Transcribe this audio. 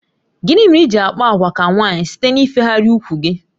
Gịnị mere iji àkpà àgwà ka nwaanyị site n'ifegharị úkwù gị?